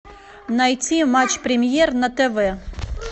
найти матч премьер на тв